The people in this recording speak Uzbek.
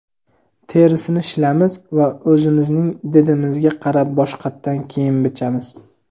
terisini shilamiz va o‘zimizning didimizga qarab boshqatdan kiyim bichamiz.